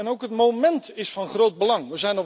Ook het moment is van groot belang.